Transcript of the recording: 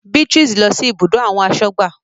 Beatrice lọ sí ibùdó àwọn asọ́gbà